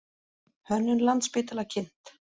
Hönnun Landspítala kynnt